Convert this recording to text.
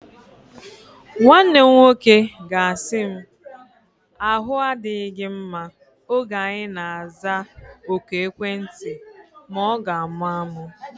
Nwanne m nwoke ga-asị m, ahu adịghị gị mma oge anyi na-aza oku ekwentị ma ọ ga-amụ amụ